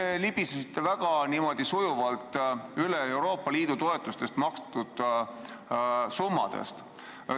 Te libisesite väga sujuvalt üle Euroopa Liidu toetustest makstud summadest.